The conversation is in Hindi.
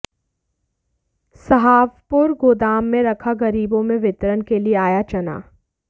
सहावपुर गोदाम में रखा गरीबों में वितरण के लिए आया चना